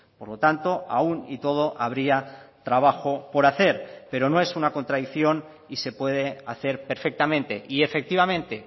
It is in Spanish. por lo tanto aun y todo habría trabajo por hacer pero no es una contradicción y se puede hacer perfectamente y efectivamente